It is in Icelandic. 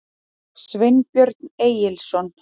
Sveinbjörn Egilsson.